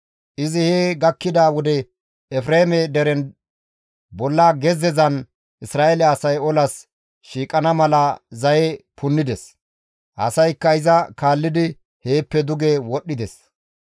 Izi he gakkida wode Efreeme deren bolla gezzezan Isra7eele asay olas shiiqana mala zaye punnides; asaykka iza kaallidi heeppe duge wodhdhides.